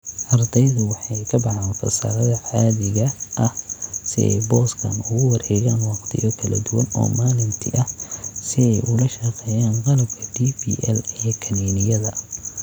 Ardaydu waxay ka baxaan fasalada caadiga ah si ay booskan ugu wareegaan wakhtiyo kala duwan oo maalintii ah si ay ula shaqeeyaan qalabka DPL ee kiniiniyada.